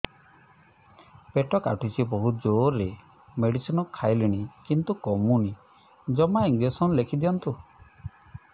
ପେଟ କାଟୁଛି ବହୁତ ଜୋରରେ ମେଡିସିନ ଖାଇଲିଣି କିନ୍ତୁ କମୁନି ଜମା ଇଂଜେକସନ ଲେଖିଦିଅନ୍ତୁ